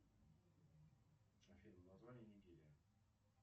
афина название нигерия